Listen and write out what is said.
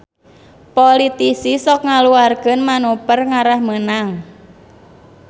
Politisi sok ngaluarkeun manuver ngarah meunang